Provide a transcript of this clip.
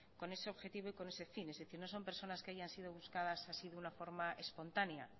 con ese objetivo y con ese fin es decir no son personas que hayan sido buscadas así de una forma espontánea